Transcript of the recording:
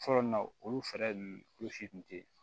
Fɔlɔ nin na olu fɛɛrɛ ninnu kulu si tun tɛ yen